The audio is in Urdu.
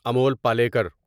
امول پالیکر